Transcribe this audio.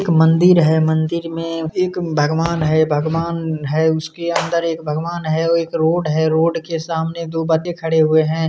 एक मंदिर हैमंदिर में एक भगवान है भगवान है उसके अंदर एक भगवान है एक रोड है रोड के सामने दू खड़े है।